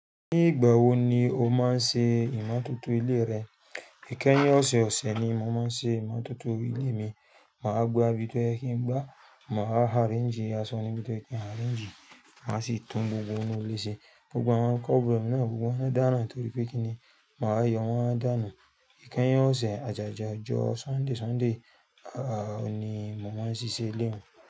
Ní ìgbà wo ni o máa ń ṣe ìmọ́tótó ilé rẹ? Ìkẹ́yìn ọ̀sẹ̀ ọ̀sẹ̀ ni mọ màá ń ṣe ìmọ́tótó ilé mi. Màá gba bi tó yẹ kí n gbá, màá arrange aṣọ ni bí tó yẹ kí n arrange, màá sì tún gbogbo inú ilé ṣe. Gbogbo àwọn cupboard náà, gbogbo wọn dáràn torí pé kí ni? Màá yọ wọn dá nù. Ìkẹ́yìn ọ̀sẹ̀, àjájá ọjọ́ Sunday, Sunday ni mò máa ń ṣiṣẹ́ ilé mi.